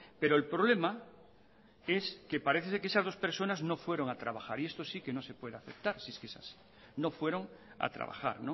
pero el problema es que parece ser que esas dos personas no fueron a trabajar y esto sí que no se puede aceptar si es que es así no fueron a trabajar